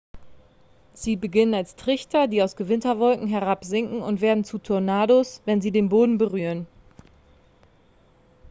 sie beginnen als trichter die aus gewitterwolken herabsinken und werden zu tornados wenn sie den boden berühren